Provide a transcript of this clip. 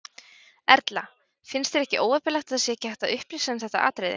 Erla: Finnst þér ekki óheppilegt að það sé ekki hægt að upplýsa um þetta atriði?